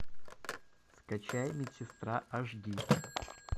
скачай медсестра аш ди